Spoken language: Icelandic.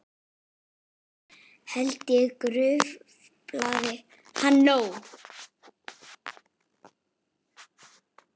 Held ég gruflað hafi nóg.